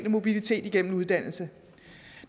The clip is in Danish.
mobilitet igennem uddannelse